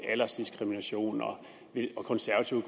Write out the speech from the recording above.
aldersdiskrimination og konservative